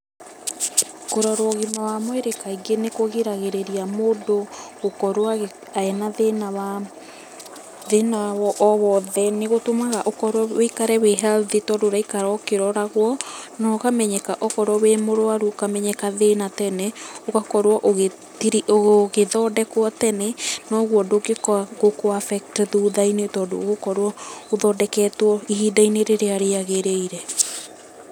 Kũrorwo ũgima wa mwĩrĩ kaingĩ nĩkũgiragĩrĩria mũndũ gũkorwo ena thĩna o wothe. Nĩ ngũtũmaga ũkorwo ũikare wĩ healthy tondũ ũraikara ũkĩroragwo na ũkamenyeka okorwo wĩ mũrũaru ũkamenyeka thĩna tene ũgakorwo ũgĩthondekwo tene noguo ndũngĩũka gũkũ affect thutha-inĩ tondũ ũgũkorwo ũthondeketwo ihinda rĩrĩa rĩagĩrĩire.